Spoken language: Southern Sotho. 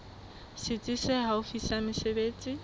setsi se haufi sa mesebetsi